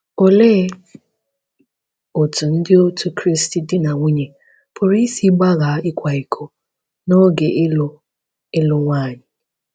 Olee otú Ndị Otù Kristi di na nwunye pụrụ isi “gbaga ịkwa iko” n’oge ịlụ ịlụ nwanyị?